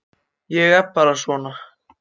Ég er bara svona.